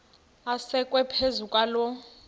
asekwe phezu kwaloo